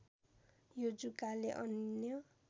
यो जुकाले अन्य